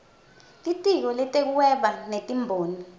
litiko letekuhweba netimboni